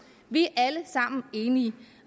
vi er alle sammen enige